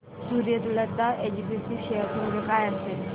Suryalata SPG share चे मूल्य काय असेल